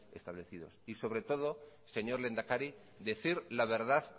establecidos y sobre todo señor lehendakari decir la verdad